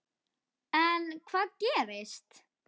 En hvað gerist.